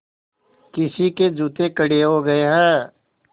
किसी के जूते कड़े हो गए हैं